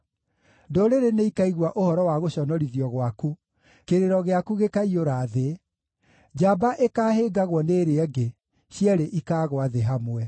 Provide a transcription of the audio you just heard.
Ndũrĩrĩ nĩikaigua ũhoro wa gũconorithio gwaku; kĩrĩro gĩaku gĩkaaiyũra thĩ. Njamba ĩkaahĩngagwo nĩ ĩrĩa ĩngĩ; cierĩ ikaagũa thĩ hamwe.”